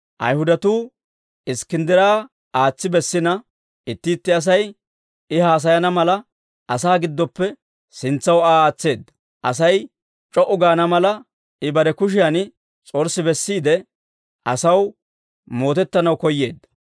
Ayihudatuu Iskkinddira aatsi bessina, itti itti Asay I haasayana mala, asaa giddoppe sintsaw Aa aatseedda; Asay c'o"u gaana mala, I bare kushiyan s'orssi bessiide, asaw mootettanaw koyyeedda.